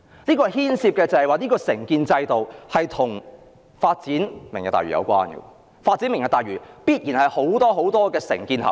事件中所牽涉的承建制度，與"明日大嶼"計劃有關，因為發展"明日大嶼"也必然牽涉很多承建合約。